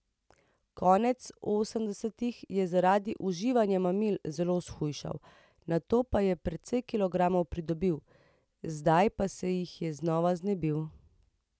Konec osemdesetih je zaradi uživanja mamil zelo shujšal, nato pa je precej kilogramov pridobil, zdaj pa se jih je znova znebil.